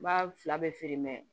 N b'a fila bɛɛ feere